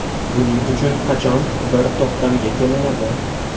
Buning uchun qachon bir to‘xtamga kelinadi?